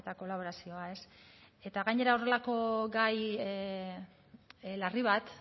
kolaborazioa eta gainera horrelako gai larri bat